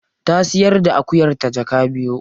Ta siyar da akuyarta jaka biyu.